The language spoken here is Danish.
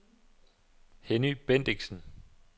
Henny Bendixen